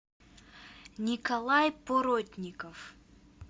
николай поротников